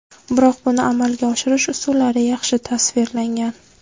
Biroq buni amalga oshirish usullari yaxshi tasvirlangan.